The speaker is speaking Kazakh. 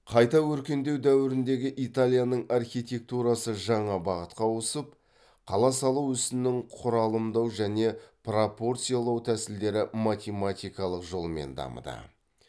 қайта өркендеу дәуіріндегі италияның архитектурасы жаңа бағытқа ауысып қала салу ісінің құралымдау және пропорциялау тәсілдері математикалық жолмен дамыды